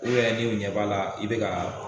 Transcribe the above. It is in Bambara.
I yɛrɛ dun ɲɛ b'a la i bɛ ka